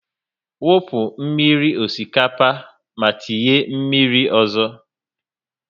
Wu fuo mmírí osikapa ma tinye mmírí ọzọ!